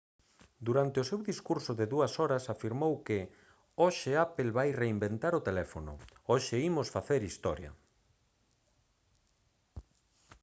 durante o seu discurso de 2 horas afirmou que hoxe apple vai reinventar o teléfono hoxe imos facer historia